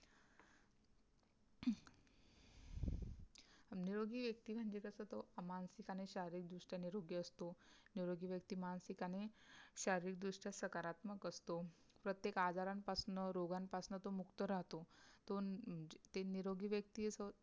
निरोगी व्यक्ती म्हणजे कस तो मानसिक आणि शारीरिक दृष्ट्या निरोगी असतो. निरोगी व्यक्ती मानसिक आणि शारीरिक दृष्ट्या सकारात्मक असतो. प्रत्येक आजारांपासून रोगांपासून तो मुक्त राहतो. तो अं ते निरोगी व्यक्ती